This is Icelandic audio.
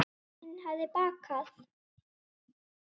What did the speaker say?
Sem mamma mín hefði bakað.